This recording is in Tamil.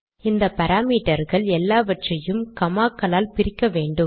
இந்த பாராமீட்டர்கள் எல்லாவற்றையும் காமா க்களால் பிரிக்க வேண்டும்